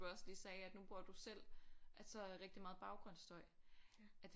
Du også lige sagde at nu bruger du selv altså rigtig meget baggrundsstøj at